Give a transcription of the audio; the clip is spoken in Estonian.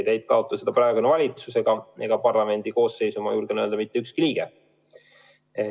Ei taotle seda praegune valitsus ega praeguses parlamendikoosseisus, julgen öelda, mitte ükski liige.